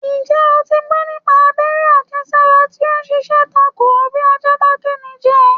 Ǹjẹ́́ o ti gbọ́ nípa abẹ́rẹ́ àjẹsára tí o ń ṣiṣẹ́ tako bí ajá bá géni jẹ?